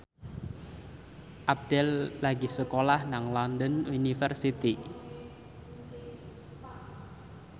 Abdel lagi sekolah nang London University